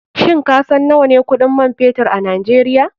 Shin kasan nawane kuɗin man fetur a nigeria?